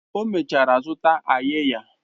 O mechara zụta áyiyah